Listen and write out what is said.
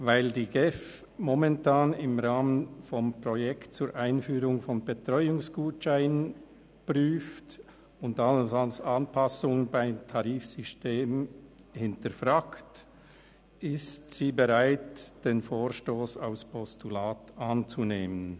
Weil die GEF momentan im Rahmen des Projekts zur Einführung von Betreuungsgutscheinen Anpassungen des Tarifsystems am Prüfen ist, ist sie bereit, den Vorstoss als Postulat anzunehmen.